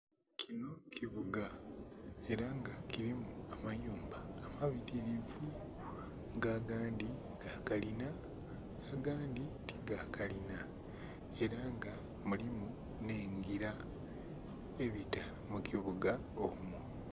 Kino kibuga ela nga kilimu amayumba amabitirivu nga agandhi ga kalina nga agandhi ti ga kalina ela nga mulimu nh'engila ebita mu kibuga omwo.